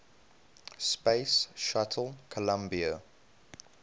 space shuttle columbia